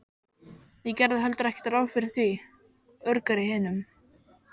Ég gerði heldur ekki ráð fyrir því, urgar í hinum.